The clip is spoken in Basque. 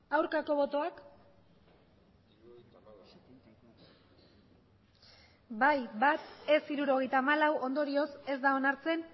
aurkako botoak bai bat ez hirurogeita hamalau ondorioz ez da onartzen